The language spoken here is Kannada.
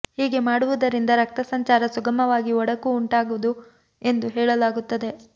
ಹೀಗೆ ಮಾಡುವುದರಿಂದ ರಕ್ತ ಸಂಚಾರ ಸುಗಮವಾಗಿ ಒಡಕು ಉಂಟಾಗದು ಎಂದು ಹೇಳಲಾಗುತ್ತದೆ